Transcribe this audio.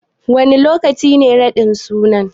Wane lokaci ne raɗin suna?